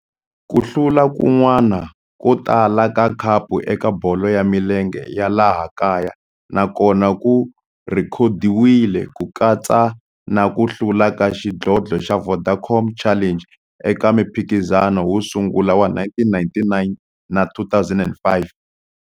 Ku hlula kun'wana ko tala ka khapu eka bolo ya milenge ya laha kaya na kona ku rhekhodiwile, ku katsa na ku hlula ka xidlodlo xa Vodacom Challenge eka mphikizano wo sungula wa 1999 na 2005.